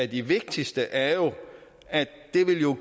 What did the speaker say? de vigtigste er jo at